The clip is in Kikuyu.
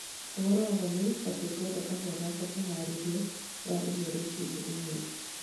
Ũhoro wa ma nĩ atĩ ngwenda kahua ngakwa wĩharĩrio thaa ĩmwe rũcinĩ ũmũthĩ